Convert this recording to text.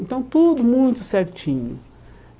Então tudo muito certinho.